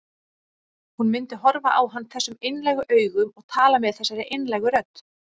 Hún myndi horfa á hann þessum einlægu augum og tala með þessari einlægu rödd.